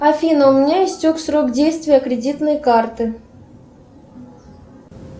афина у меня истек срок действия кредитной карты